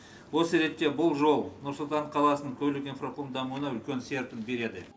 осы ретте бұл жол нұр сұлтан қаласының көлік инфрақұрылым дамуына үлкен серпін береді